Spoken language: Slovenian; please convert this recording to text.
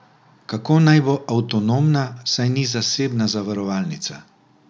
Kako naj bo avtonomna, saj ni zasebna zavarovalnica!